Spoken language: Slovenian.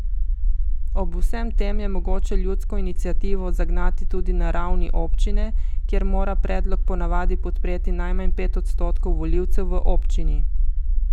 Ob vsem tem je mogoče ljudsko iniciativo zagnati tudi na ravni občine, kjer mora predlog ponavadi podpreti najmanj pet odstotkov volivcev v občini.